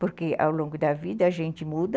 Porque ao longo da vida a gente muda.